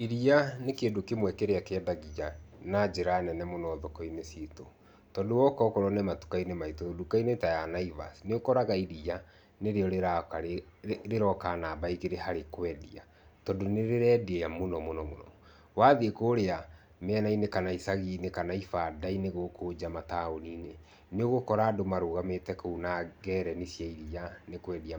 Iriia nĩ kĩndũ kĩmwe kĩrĩa kĩendagia na njĩra nene mũno thoki-inĩ citũ tondũ woka okorwo nĩ matuka-inĩ, nduka-inĩ ta ya naivaci nĩrĩo rĩroka namba igĩrĩ harĩ kwendia tondũ nĩrĩrendia mũno mũno, wathiĩ kũrĩa mĩena-inĩ kana icaginĩ kana ibanda-inĩ gũkũ nja mataũni-nĩ, nĩũgũkora andũ marũgamĩte kũu na ngereni cia iriia nĩkwendia